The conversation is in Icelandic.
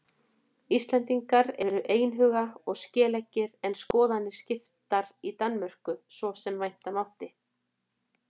Íslendingar voru einhuga og skeleggir en skoðanir skiptar í Danmörku svo sem vænta mátti.